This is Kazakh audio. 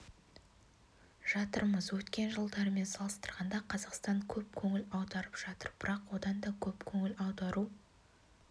жатырмыз өткен жылдармен салыстырғанда қазақстан көп көңіл аударып жатыр бірақ одан да көп көңіл аудару